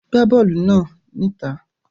Gbá bọ́ọ̀lù náà níta.